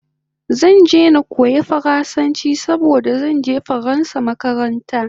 Zan je na koya faransanchi saboda zanje faransa makaranta